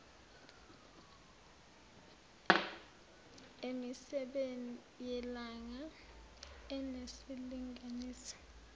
emisebeni yelanga enesilinganiso